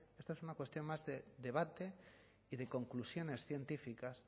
esta es una cuestión más de debate y de conclusiones científicas